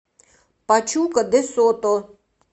пачука де сото